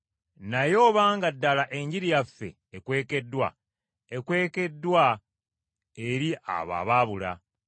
Naye obanga ddala Enjiri yaffe ekwekeddwa, ekwekeddwa eri abo ababula.